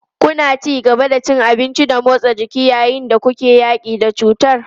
Kuna ci gaba da cin abinci da motsa jiki yayin da kuke yaƙi da cutar?